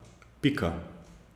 Pika.